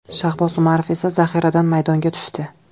Shahboz Umarov esa zaxiradan maydonga tushdi.